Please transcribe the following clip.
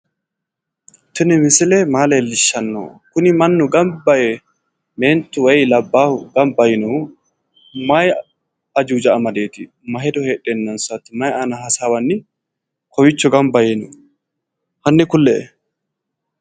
Tini misile maa lellishshanno? kuni mannu gamba yee meentu woyi labballu gamba yinohu mayi ajuuja madeeti? ma hedo heedheennansaati? maayi aana hasaawanni kawiicho gamba yee no? hanni kule"e.